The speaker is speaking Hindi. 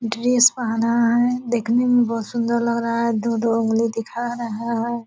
ड्रेस पहना है देखने में बहुत सुंदर लग रहा है दो-दो ऊँगली दिखा रहा है।